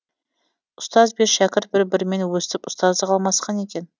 ұстаз бен шәкірт бір бірімен өстіп ұстаздық алмасқан екен